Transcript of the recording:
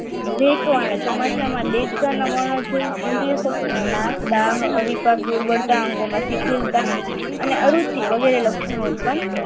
ચોમાસામાં દેડકા વર્ણો જોય ઈન્દ્રી નો નાશ આવીશ દુર્બળતા અને અરુચિ વગેરે લક્ષણો ઉત્પન્ન